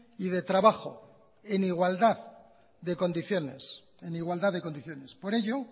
y de trabajo en igualdad de condiciones por ello